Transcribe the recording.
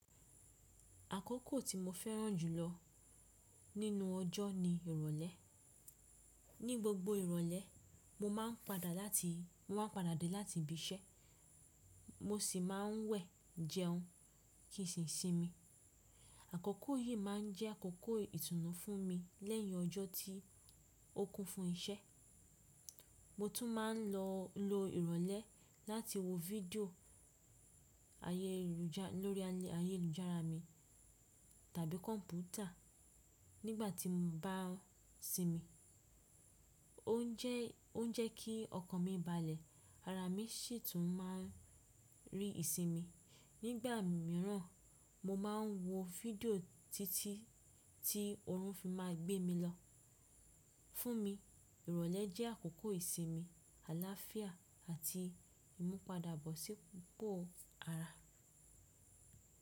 Àkókò tí mo fẹ́ràn jù lọ nínú ọjọ́ ni ìrọ̀lẹ́. Ni gbogbo ìrọ̀lẹ́, mo máa ń padà láti, mo máa ń padà dé láti ibi iṣẹ́, mo sì máa ń wẹ̀, jẹun, kí ìsinmi. Àkókò yìí má a ń jẹ́ àkókò ìtùnú fún mi lẹ́yìn ọjọ́ tí ó kún fún iṣẹ́. Mo tún máa ń lo ìrọ̀lẹ́ láti wo fídíò ayélujára lórí ayélujára mi tàbí kọ̀mpútà nígbà tí mo bá ń sinmi. O jẹ ki ọkàn mi balẹ̀, ara mi sì tún máa ń rí ìsinmi. Nígbà míràn, mo máa ń wo fídíò títí tí oorun fi máa gbé mi lọ. Fún mi, ìrọ̀lẹ́ jẹ́ àkókò ìsinmi, àláfíà àti ìmúpadàbọ̀sípo ara.